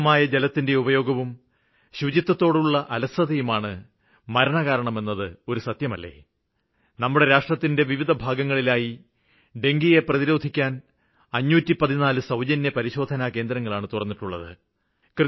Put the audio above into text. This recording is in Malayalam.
അശ്രദ്ധമായ ജലത്തിന്റെ ഉപയോഗവും ശുചത്വത്തോടുള്ള അലസതയുമാണ് മരണകാരണമെന്നത് ഒരു സത്യമല്ലേ നമ്മുടെ രാഷ്ട്രത്തിന്റെ വിവിധ ഭാഗങ്ങളിലായി ഡെങ്കുവിനെ പ്രതിരോധിക്കാന് 514 സൌജന്യ പരിശോധന കേന്ദ്രങ്ങളാണ് തുറന്നിട്ടുള്ളത്